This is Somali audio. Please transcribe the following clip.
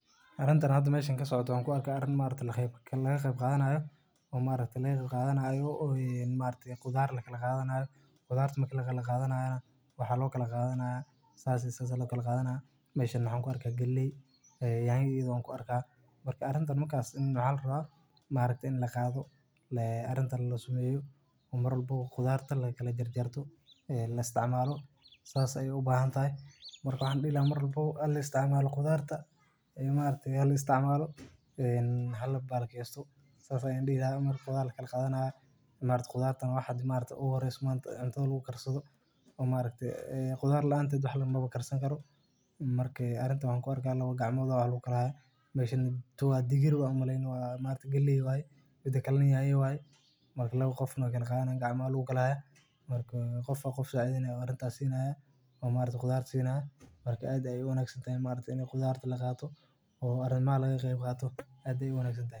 waa hab ganacsi oo qadiimi ah oo ay dadku isku beddelaan alaabooyinka iyo adeegyadooda iyagoo aan lacag la isticmaalin, kaas oo uu qofku ku iibsan karo waxa uu leeyahay si uu u helo wax aynu haysan, sidaas darteed waxaa loo isticmaalaa marka ay jiraan baahi isweydaarsiga oo ay dadku rabaan in ay isku qanciyaan iyagoo ka fogeynaya dhibaatooyinka lacagta, sidaas awgeed barter waxaa uu noqon karaa mid aad u faa'iido badan marka ay jiraan shuruudo la wada ogsoon yahay oo ay isku fahmi waayaan labada dhinac, gaar ahaan goobaha aan wadaha ganacsiga caadiga ah.